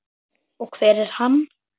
Og hver er hann?